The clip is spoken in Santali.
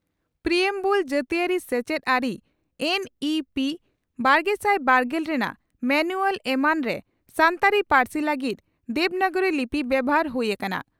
ᱯᱨᱤᱭᱮᱢᱵᱩᱞ ᱡᱟᱟᱹᱛᱤᱭᱟᱹᱨᱤ ᱥᱮᱪᱮᱫ ᱟᱹᱨᱤ ᱮᱱ ᱤ ᱯᱤ ᱵᱟᱨᱜᱮᱥᱟᱭ ᱵᱟᱨᱜᱮᱞ ᱨᱮᱱᱟᱜ ᱢᱟᱱᱩᱣᱟᱞ ᱮᱢᱟᱱᱨᱮ ᱥᱟᱱᱛᱟᱲᱤ ᱯᱟᱹᱨᱥᱤ ᱞᱟᱹᱜᱤᱫ ᱫᱮᱵᱽᱱᱟᱜᱨᱤ ᱞᱤᱯᱤ ᱵᱮᱵᱷᱟᱨ ᱦᱩᱭ ᱟᱠᱟᱱᱟ ᱾